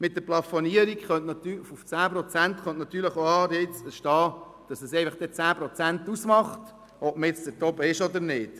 Mit der Plafonierung auf 10 Prozent können natürlich auch Anreize entstehen, sodass es dann einfach 10 Prozent ausmacht – ob man nun dort oben ist oder nicht.